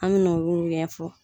An mina or'u na ɲɛfɔ